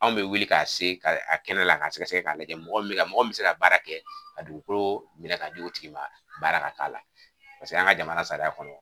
Anw bɛ wuli k'a se a kɛnɛ la ka sɛgɛsɛgɛ k'a lajɛ mɔgɔɔ min bɛ ka mɔgɔ min bɛ se ka baara kɛ ka dugukolo minɛ k'a di o tigi ma baara ka k'a la paseke an ka jamana sariya kɔnɔ